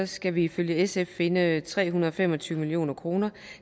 skal vi ifølge sf finde tre hundrede og fem og tyve million kroner